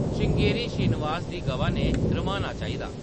श्रृंगेरी श्रीनिवास दी गवा ने रम्हाना चाहिदा